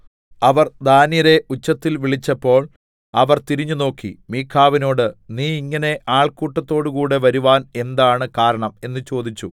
അവർ ദാന്യരെ ഉച്ചത്തിൽ വിളിച്ചപ്പോൾ അവർ തിരിഞ്ഞുനോക്കി മീഖാവിനോട് നീ ഇങ്ങനെ ആൾക്കൂട്ടത്തോടുകൂടെ വരുവാൻ എന്താണ് കാരണം എന്ന് ചോദിച്ചു